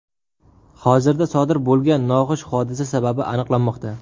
Hozirda sodir bo‘lgan noxush hodisa sababi aniqlanmoqda.